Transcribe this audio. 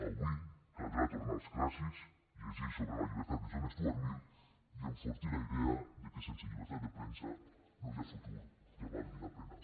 avui caldrà tornar als clàssics llegir sobre la llibertat de john stuart mill i enfortir la idea de que sense llibertat de premsa no hi ha futur que valgui la pena